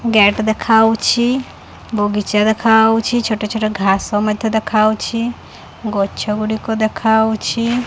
Gate ଦେଖାଉଛି ବଗିଚା ଦେଖାଉଛି ବହୁ ଛୋଟ ଛୋଟ ଘାସ ମଧ୍ୟ ଦେଖାଉଛି ଗଛ ଗୁଡ଼ିକ ଦେଖାଉଛି।